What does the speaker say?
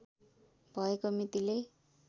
भएको मितिले